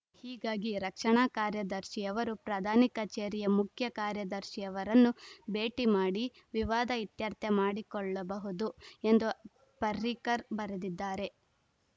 ಹೀಗಾಗಿ ರಕ್ಷಣಾ ಕಾರ್ಯದರ್ಶಿಯವರು ಪ್ರಧಾನಿ ಕಚೇರಿಯ ಮುಖ್ಯ ಕಾರ್ಯದರ್ಶಿಯವರನ್ನು ಭೇಟಿ ಮಾಡಿ ವಿವಾದ ಇತ್ಯರ್ಥ ಮಾಡಿಕೊಳ್ಳಬಹುದು ಎಂದು ಪರ್ರಿಕರ್‌ ಬರೆದಿದ್ದಾರೆ